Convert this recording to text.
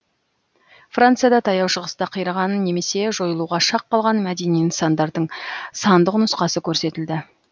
францияда таяу шығыста қираған немесе жойылуға шақ қалған мәдени нысандардың сандық нұсқасы көрсетілді